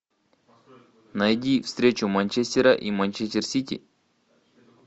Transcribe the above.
найди встречу манчестера и манчестер сити